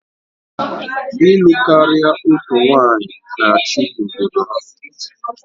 Ịlụ karia otu nwanyị na-achị n'ọgbọ ha